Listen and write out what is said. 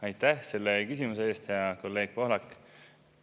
Aitäh selle küsimuse eest, hea kolleeg Pohlak!